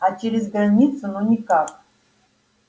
а через границу ну никак